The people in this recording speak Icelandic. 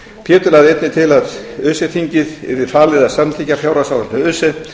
pétur lagði einnig til að öse þinginu yrði falið að samþykkja fjárhagsáætlun öse